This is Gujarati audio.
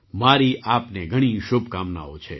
મારી આપને ઘણી શુભકામનાઓ છે